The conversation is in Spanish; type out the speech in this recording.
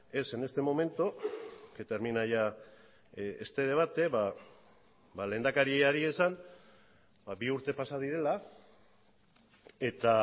es en este momento que termina ya este debate ba lehendakariari esan bi urte pasa direla eta